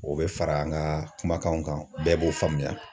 O bɛ fara an ka kumakanw kan, bɛɛ b'o faamuya.